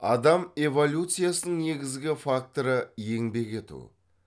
адам эволюциясының негізгі факторы еңбек ету